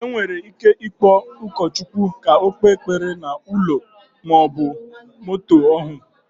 Enwere ike ikpo ụkọ Chukwu ka ọ kpe ekpere na ụlọ maọbụ moto ọhụ